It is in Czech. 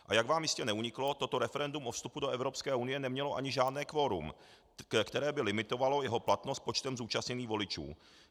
A jak vám jistě neuniklo, toto referendum o vstupu do Evropské unie nemělo ani žádné kvorum, které by limitovalo jeho platnost počtem zúčastněných voličů.